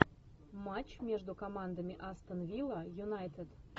матч между командами астон вилла юнайтед